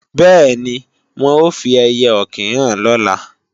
Bẹ́ẹ̀ni, wọn ó fi ẹiyẹ-ọ̀kín hàn lọ́la